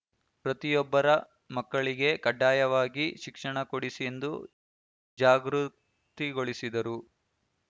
ಪ್ರತಿಯೊಬ್ಬರ ಮಕ್ಕಳಿಗೆ ಕಡ್ಡಾಯವಾಗಿ ಶಿಕ್ಷಣ ಕೊಡಿಸಿ ಎಂದು ಜಾಗೃತಿಗೊಳಿಸಿದರು